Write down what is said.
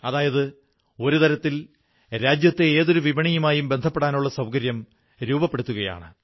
അതായത് ഒരു തരത്തിൽ രാജ്യത്തെ ഏതൊരു വിപണിയുമായും ബന്ധപ്പെടാനുള്ള സൌകര്യം രൂപപ്പെടുത്തുകയാണ്